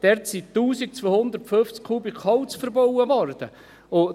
Dort wurden 1250 Kubikmeter Holz verbaut.